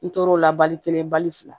N tor'o la bali kelen bali fila